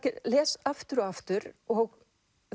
les aftur og aftur og